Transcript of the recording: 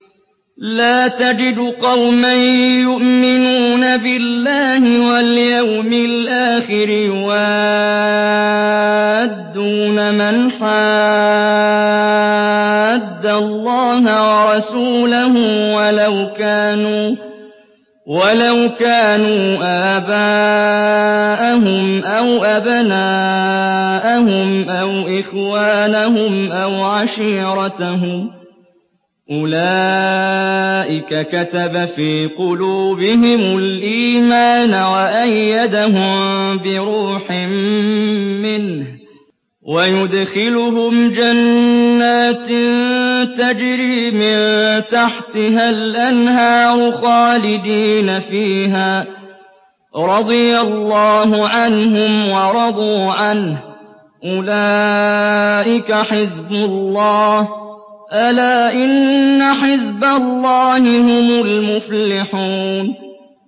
لَّا تَجِدُ قَوْمًا يُؤْمِنُونَ بِاللَّهِ وَالْيَوْمِ الْآخِرِ يُوَادُّونَ مَنْ حَادَّ اللَّهَ وَرَسُولَهُ وَلَوْ كَانُوا آبَاءَهُمْ أَوْ أَبْنَاءَهُمْ أَوْ إِخْوَانَهُمْ أَوْ عَشِيرَتَهُمْ ۚ أُولَٰئِكَ كَتَبَ فِي قُلُوبِهِمُ الْإِيمَانَ وَأَيَّدَهُم بِرُوحٍ مِّنْهُ ۖ وَيُدْخِلُهُمْ جَنَّاتٍ تَجْرِي مِن تَحْتِهَا الْأَنْهَارُ خَالِدِينَ فِيهَا ۚ رَضِيَ اللَّهُ عَنْهُمْ وَرَضُوا عَنْهُ ۚ أُولَٰئِكَ حِزْبُ اللَّهِ ۚ أَلَا إِنَّ حِزْبَ اللَّهِ هُمُ الْمُفْلِحُونَ